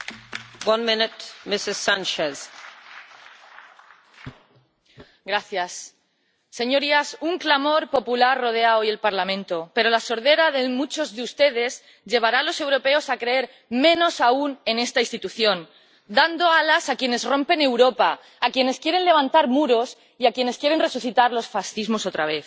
Señora presidenta, señorías, un clamor popular rodea hoy el Parlamento, pero la sordera de muchos de ustedes llevará a los europeos a creer menos aún en esta institución, dando alas a quienes rompen Europa, a quienes quieren levantar muros y a quienes quieren resucitar los fascismos otra vez.